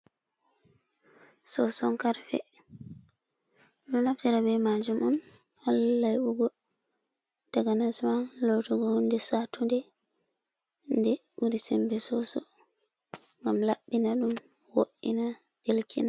Soson-Karfe ɗo naftira be majum on hala laiɓugo. Takanas ma laatugo hunde satunde nde ɓuri sembe soso. Ngam laɓɓina ɗum, wo’ina, delkina.